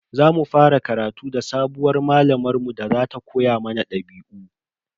Za mu fara karatu da sabuwar malamar mu da za ta koya mana dabi'u.